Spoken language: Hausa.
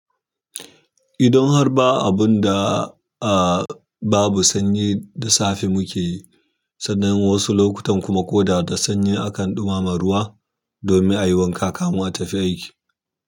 Idan har ba abun da, a, babu sanyi da safe muke yi, sannan wasu lokutan kuma ko da da sanyi akan ɗumama ruwa domin a yi wanka, kamun a tafi aiki.